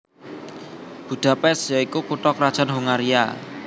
Budapest ya iku kutha krajan Hongaria